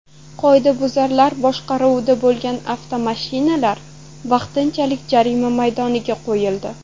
Qoidabuzarlar boshqaruvida bo‘lgan avtomashinalar vaqtinchalik jarima maydonlariga qo‘yildi.